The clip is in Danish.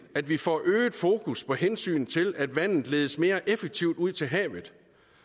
at vi får øget fokus på hensynet til at vandet ledes mere effektivt ud til havet